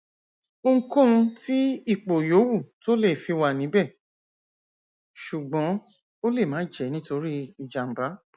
ohunkóhun tí ipò yòówù tó lé fi wà níbẹ ṣùgbọn ó lè má jẹ nitori ijamba